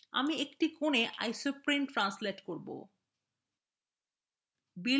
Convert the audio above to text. আমি একটি corner isoprene অনুবাদ করবে